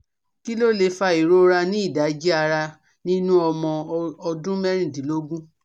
Kí ló lè fa ìrora ni idaji arà nínú ọmọ ọdún mẹ́rìndínlógún?